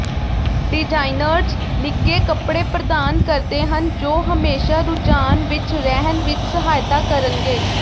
designers ਨਿੱਘੇ ਕੱਪੜੇ ਪ੍ਰਦਾਨ ਕਰਦੇ ਹਨ ਜੋ ਹਮੇਸ਼ਾ ਰੁਝਾਨ ਵਿਚ ਰਹਿਣ ਵਿਚ ਸਹਾਇਤਾ ਕਰਨਗੇ